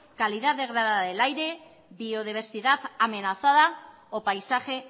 calidad degradada del aire biodiversidad amenazada o paisaje